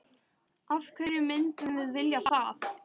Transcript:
Af hverju myndum við vilja það?